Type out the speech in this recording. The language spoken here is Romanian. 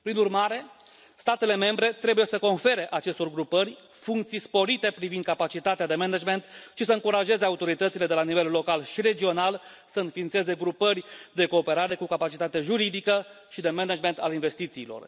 Prin urmare, statele membre trebuie să confere acestor grupări funcții sporite privind capacitatea de management și să încurajeze autoritățile de la nivel local și regional să înființeze grupări de cooperare cu capacitate juridică și de management al investițiilor.